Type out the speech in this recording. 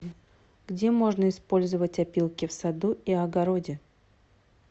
где можно использовать опилки в саду и огороде